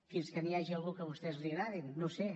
fins que hi hagi algú que a vostès els agradi no ho sé